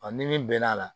Ɔ ni min bɛn'a la